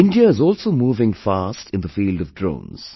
India is also moving fast in the field of drones